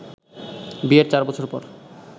বিয়ের চার বছর পর